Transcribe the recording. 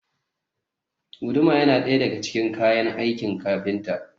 Guduma yana ɗaya daga cikin kayan aikin kafinta.